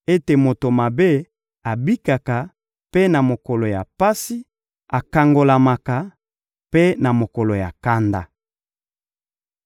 ete moto mabe abikaka mpe na mokolo ya pasi, akangolamaka mpe na mokolo ya kanda.